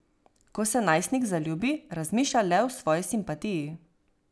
Ko se najstnik zaljubi, razmišlja le o svoji simpatiji.